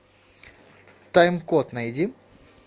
тайм код найди